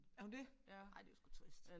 Er hun det? Ej det var sgu trist